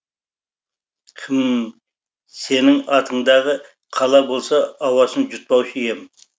хм сенің атыңдағы қала болса ауасын жұтпаушы ем